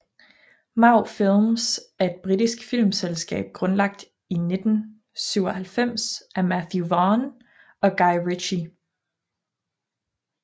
Marv Films er et britisk filmselskab grundlagt i 1997 af Matthew Vaughn og Guy Ritchie